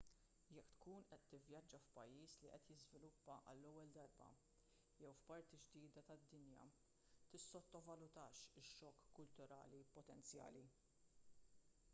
jekk tkun qed tivvjaġġa f'pajjiż li qed jiżviluppa għall-ewwel darba jew f'parti ġdida tad-dinja tissottovalutax ix-xokk kulturali potenzjali